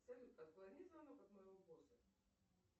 салют отклони звонок от моего босса